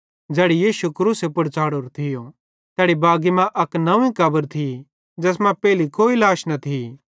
ज़ैड़ी यीशु क्रूसे पुड़ च़ाढ़ोरो थियो तैड़ी बागी मां अक नंव्वी कब्र थी ज़ैस मां पेइली कोई लाश न थी